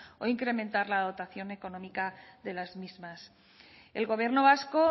o incrementar la dotación económica de las mismas el gobierno vasco